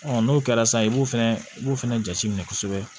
n'o kɛra sisan i b'o fɛnɛ i b'o fɛnɛ jate minɛ kosɛbɛ